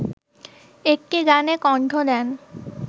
একটি গানে কণ্ঠ দেন